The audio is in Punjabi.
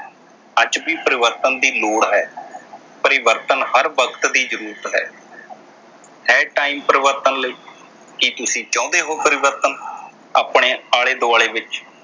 ਅੱਜ ਵੀ ਪਰਿਵਰਤਨ ਦੀ ਲੋੜ ਹੈ। ਪਰਿਵਰਤਨ ਹਰ ਵਕਤ ਦੀ ਜਰੂਰਤ ਹੈ। ਹੈ time ਪਰਿਵਰਤਨ ਲਈ ਕੀ ਤੁਸੀਂ ਚਾਹੁੰਦੇ ਹੋ ਪਰਿਵਰਤਨ ਆਪਣੇ ਆਲੇ ਦੁਆਲੇ ਵਿਚ